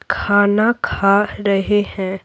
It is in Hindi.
खाना खा रहे हैं ।